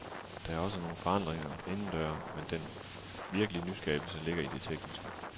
Der er også nogle forandringer inden døre, men den virkelige nyskabelse ligger i det tekniske.